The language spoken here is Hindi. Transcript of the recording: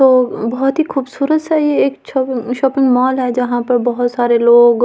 वो बहुत ही खूबसूरत सा ये एक छॉपी शॉपिंग मॉल है जहां पर बहुत सारे लोग अ--